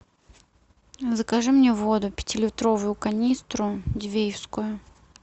закажи мне воду пятилитровую канистру дивеевскую